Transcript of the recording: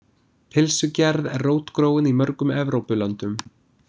Pylsugerð er rótgróin í mörgum Evrópulöndum.